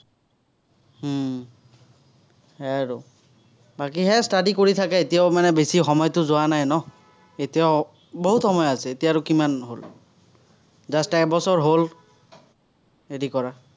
উম সেয়াই আৰু। বাকী সেয়াই study কৰি থাকা, এতিয়াও মানে বেছি সময়টো যোৱা নাই ন। এতিয়াও বহুত সময় আছে, এতিয়া আৰু কিমান সৰু। just এবছৰ হ'ল হেৰি কৰা।